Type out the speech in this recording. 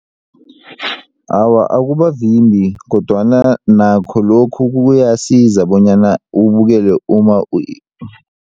Awa, akubavimbi kodwana nakho lokhu kuyasiza bonyana ubukele